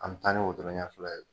An bɛ taa ni wotoro ɲɛ fila ye.